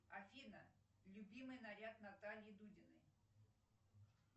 афина любимый наряд натальи дудиной